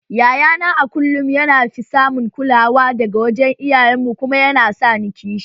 Yayana a kullum yana fi samun kulawa daga wajen iyayen mu kuma yana sa ni kishi